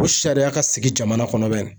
Ko sariya ka sigi jamana kɔnɔ bɛn